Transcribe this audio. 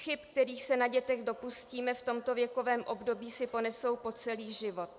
Chyby, kterých se na dětech dopustíme v tomto věkovém období, si ponesou po celý život.